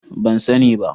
Ban sani ba.